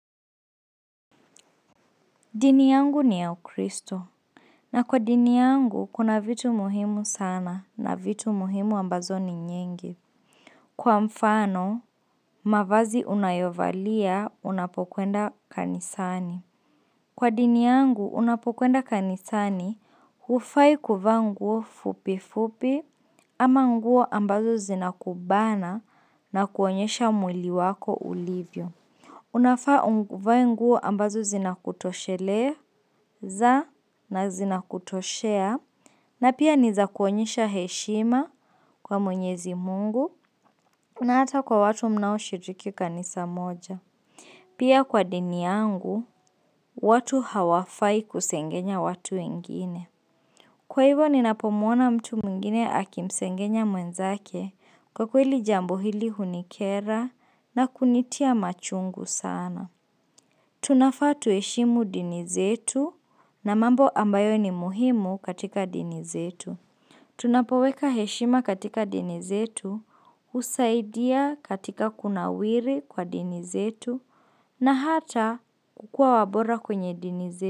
Dini yangu ni ya ukristo. Na kwa dini yangu, kuna vitu muhimu sana na vitu muhimu ambazo ni nyingi. Kwa mfano, mavazi unayovalia unapokwenda kanisani. Kwa dini yangu, unapokwenda kanisani, hufai kuvaa nguo fupi fupi ama nguo ambazo zinakubana na kuonyesha mwili wako ulivyo. Unafaa uvae nguo ambazo zinakutosheleza na zinakutoshea na pia ni za kuonyesha heshima kwa mwenyezi mungu na hata kwa watu mnaoshiriki kanisa moja. Pia kwa dini yangu, watu hawafai kusengenya watu wengine. Kwa hivyo ninapomuona mtu mwngine akimsengenya mwenzake kwa kweli jambo hili hunikera na kunitia machungu sana. Tunafaa tuheshimu dini zetu na mambo ambayo ni muhimu katika dini zetu Tunapoweka heshima katika dini zetu husaidia katika kunawiri kwa dini zetu na hata kukuwa wabora kwenye dini zetu.